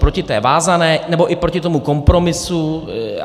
Proti té vázané, nebo i proti tomu kompromisu?